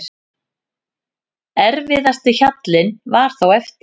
Erfiðasti hjallinn var þó eftir.